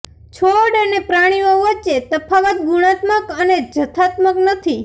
છોડ અને પ્રાણીઓ વચ્ચે તફાવત ગુણાત્મક અને જથ્થાત્મક નથી